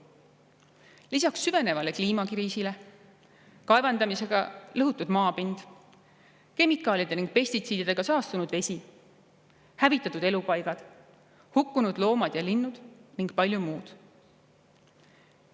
Lisaks süvenevale kliimakriisile kaevandamisega lõhutud maapind, kemikaalide ning pestitsiididega saastunud vesi, hävitatud elupaigad, hukkunud loomad ja linnud ning palju muud.